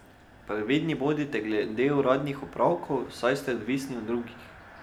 Previdni bodite glede uradnih opravkov, saj ste odvisni od drugih.